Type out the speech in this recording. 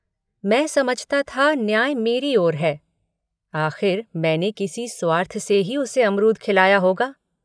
मैं समझता था न्याय मेरी ओर है आख़िर मैंने किसी स्वार्थ से ही उसे अमरूद खिलाया होगा।